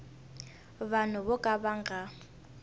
vanhu vo ka va nga